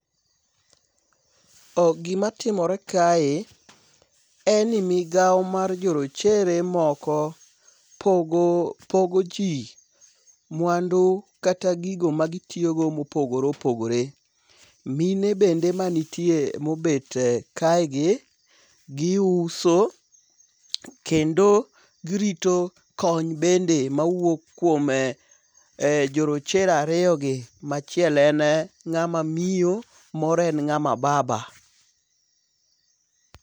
Gima timore kae en ni migawo mar jorochere moko pogo pogo jii mwandu kata gigo magitiyo go mopogore opogore. Mine bende ma nitie mobet kae gi giuso kendo girito kony bende mawuok kuom jorochere ariyo gi, ma achiel en ng'ama miyo moro en ng'ama baba.